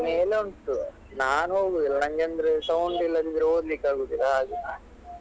ಮೇಲೆ ಉಂಟು ನಾನ್ ಹೋಗುದಿಲ್ಲ ನಂಗಂದ್ರೆ sound ಇಲ್ಲದಿದ್ರೆ ಓದ್ಲಿಕ್ಕೆ ಆಗುದಿಲ್ಲ ಹಾಗೆ.